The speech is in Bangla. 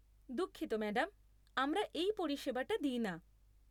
দুঃখিত ম্যাডাম। আমরা এই পরিষেবাটা দিই না।